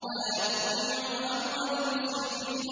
وَلَا تُطِيعُوا أَمْرَ الْمُسْرِفِينَ